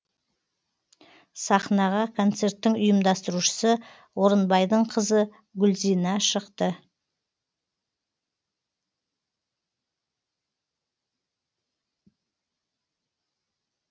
сахнаға концерттің ұйымдастырушысы орынбайдың қызы гүлзина шықты